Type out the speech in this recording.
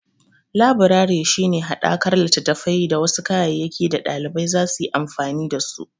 Labirari shi ne haɗakar littattafai da wasu kayayyaki da ɗalibai zasu yi amfani da su.